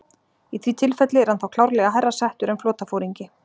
Í því tilfelli er hann þá klárlega hærra settur en flotaforingi.